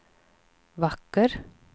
vacker